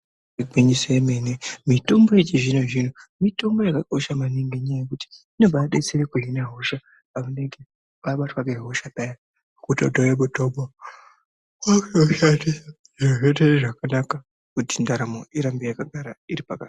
Igwinyiso yemene mitombo yechi zvino zvino mitombo yaka kosha maningi ngenya yekuti inobai detsere kuhine hosha anenge abatwa nge hosha paya oto tore mutombo otowushandisa zviro zvoita zvakanaka kuti ndaramo irambe yaka gara iri pakanaka.